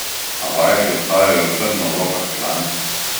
A vajeti ostajajo trdno v rokah članic.